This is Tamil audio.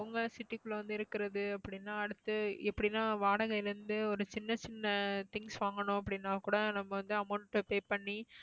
அவங்க city க்குள்ள வந்து இருக்கறது அப்படின்னா அடுத்து எப்படின்னா வாடகைல இருந்து ஒரு சின்ன சின்ன things வாங்கணும் அப்படின்னா கூட நம்ம வந்து amount pay பண்ணி